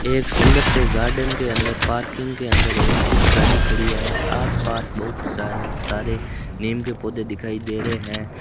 एक सुंदर से गार्डन के अंदर पार्किंग के अंदर एक स्विफ्ट गाड़ी खड़ी है आस पास बहुत सा सारे नीम के पोधै दिखाई दे रहे हैं।